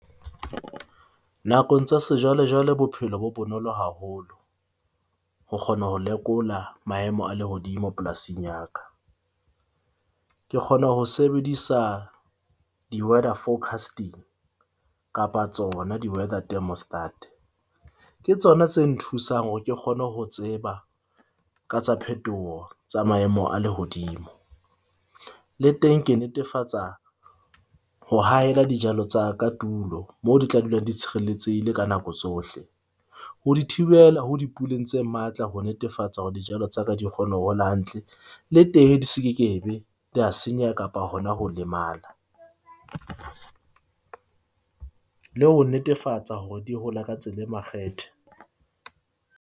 Nakong tsa sejwale, jwale bophelo bo bonolo haholo ho kgona ho lekola maemo a lehodimo polasing ya ka. Ke kgona ho sebedisa di-weather forecasting kapa tsona di-weather thermostat. Ke tsona tse nthusang hore ke kgone ho tseba ka tsa phethoho tsa maemo a lehodimo, le teng ke netefatsa ho hahela dijalo tsa ka tulo moo di tla dulang di tshireletsehile ka nako tsohle. Ho di thibela ho dipuleng tse matla ho netefatsa hore dijalo tsa ka di kgona ho hola hantle le teng di se ke be tsa senyeha kapa hona ho lemala. Le ho netefatsa hore di hola ka tsela e makgethe.